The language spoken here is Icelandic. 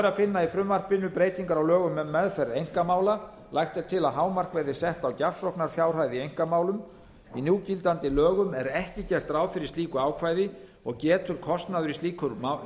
að finna í frumvarpinu breytingar á lögum um meðferð einkamála lagt er til að hámark verði sett á gjafsóknarfjárhæð í einkamálum í núgildandi lögum er ekki gert ráð fyrir slíku ákvæði og getur kostnaður í slíkum